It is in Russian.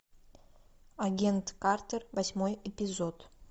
агент картер восьмой эпизод